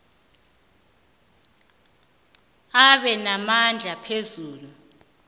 abe namandla phezu